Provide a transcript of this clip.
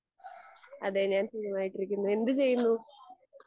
അതെ ഞാൻ സുഖമായിട്ടിരിക്കുന്നു. എന്ത് ചെയ്യുന്നു?